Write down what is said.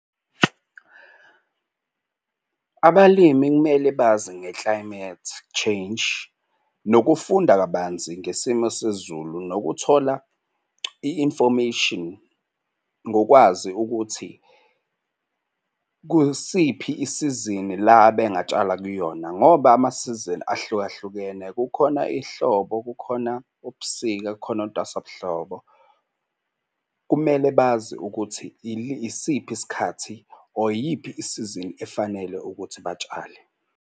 Abalimi kumele bazi nge-climate change nokufunda kabanzi ngesimo sezulu nokuthola i-information ngokwazi ukuthi kusiphi isizini la abengatshala kuyona ngoba amasizini ahlukahlukene kukhona ihlobo, kukhona ubusika, kukhona ntwasa buhlobo. Kumele bazi ukuthi isiphi isikhathi or iyiphi isizini efanele ukuthi batshale.